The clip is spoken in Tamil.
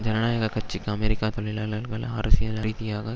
ஜனநாயக கட்சிக்கு அமெரிக்க தொழிலாளர்கள் அரசியல் ரீதியாக